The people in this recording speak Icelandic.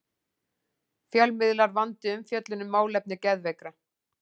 Fjölmiðlar vandi umfjöllun um málefni geðveikra